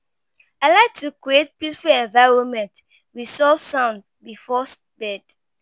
I like to create a peaceful environment with soft sounds before bed.